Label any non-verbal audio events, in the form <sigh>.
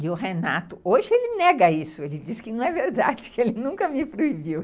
E o Renato, hoje ele nega isso, ele diz que não é verdade, <laughs> que ele nunca me proibiu.